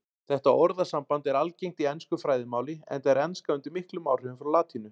Þetta orðasamband er algengt í ensku fræðimáli enda er enska undir miklum áhrifum frá latínu.